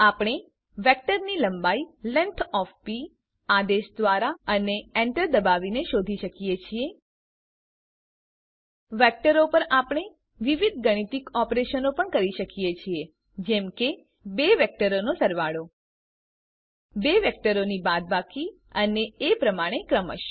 આપણે વેક્ટરની લંબાઈ લેંગ્થ ઓએફ પ આદેશ દ્વારા અને enter દબાવીને શોધી શકીએ છીએ વેક્ટરો પર આપણે વિવિધ ગાણિતિક ઓપરેશનો પણ કરી શકીએ છીએ જેમ કે બે વેક્ટરોનો સરવાળો બે વેક્ટરોની બાદબાકી અને એ પ્રમાણે ક્રમશ